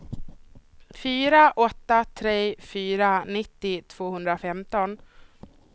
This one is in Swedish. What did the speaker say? fyra åtta tre fyra nittio tvåhundrafemton